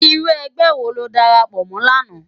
Irú ègbè wó ló dàrápò mò làná?